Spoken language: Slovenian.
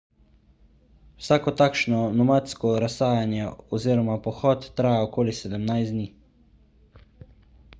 vsako takšno nomadsko razsajanje oziroma pohod traja okoli 17 dni